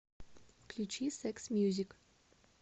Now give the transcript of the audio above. включи секс мьюзик